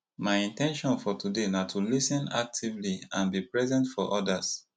my in ten tion for today na to lis ten actively and be present for odas